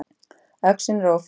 Öxin er ófundin.